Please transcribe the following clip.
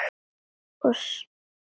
og sárt var grátið.